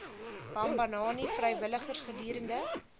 bambanani vrywilligers gedurende